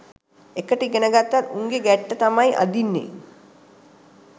එකට ඉගෙන ගත්තත් උන්ගේ ගැට්ටට තමයි අදින්නෙ